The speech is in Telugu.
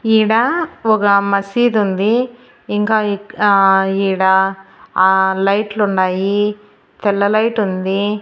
ఈడ ఒగ మసీద్ ఉంది ఇంకా ఇక్ ఆ ఈడ ఆ లైట్ లు ఉండాయి తెల్ల లైట్ ఉంది.